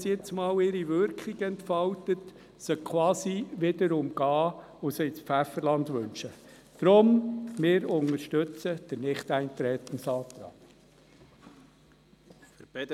Aber man kann sie nicht quasi wieder umgehen und ins Pfefferland wünschen, wenn sie ihre Wirkung entfaltet.